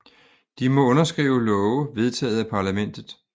De må underskrive love vedtaget af parlamentet